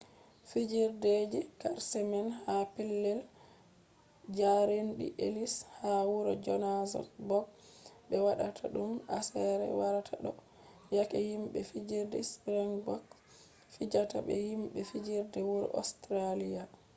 fijerde je karshe man ha pellel jaarendi ellis””ha wuro johanasbog be waɗata ɗum aseere warata ɗo yake himɓe fijerde springboks fijata be himɓe fijerde wuro ostreliya